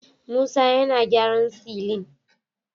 Musa yana gyaran silin